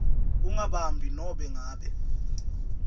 ungabambi nobe ngabe